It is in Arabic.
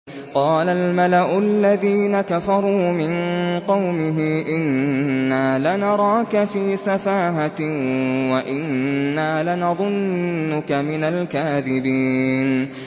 قَالَ الْمَلَأُ الَّذِينَ كَفَرُوا مِن قَوْمِهِ إِنَّا لَنَرَاكَ فِي سَفَاهَةٍ وَإِنَّا لَنَظُنُّكَ مِنَ الْكَاذِبِينَ